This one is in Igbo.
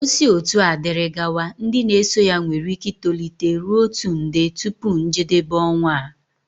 O si otua diri gawa, ndị na-eso ya nwere ike itolite ruo otu nde tupu njedebe ọnwa a